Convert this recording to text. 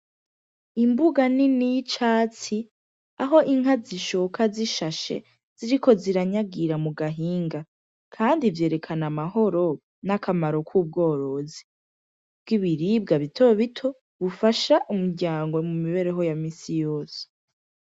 Imbuga nini y'icatsi, aho inka zishoka zishashe ziriko ziranyagira mu gahinga kandi vyerekana amahoro, n'akamaro k'ubworozi bw'ibiribwa bitobito ufasha umuryango mu mibereho ya minsi yose.